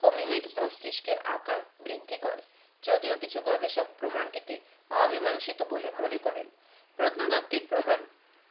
hominid মস্তিষ্কের আকার বৃদ্ধি করে যদিও কিছু গবেষক প্রমানটিকে অমীমাংসিত বলে মনে করেন প্রত্নতাত্ত্বিক প্রমাণ